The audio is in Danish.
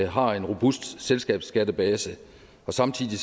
har en robust selskabsskattebase og samtidig